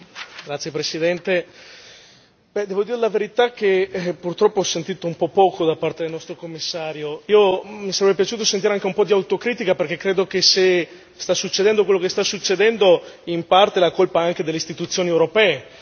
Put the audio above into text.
Signor Presidente, onorevoli colleghi, devo dire la verità purtroppo ho sentito un po' poco da parte del nostro Commissario. Mi sarebbe piaciuto sentire anche un po' di autocritica perché, credo che, se sta succedendo quello che sta succedendo, in parte la colpa è anche delle istituzioni europee.